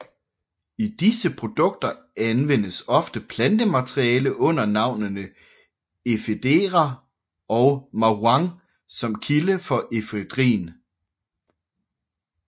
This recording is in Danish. I disse produkter anvendes ofte plantemateriale under navnene Ephedra og Ma Huang som kilde for efedrin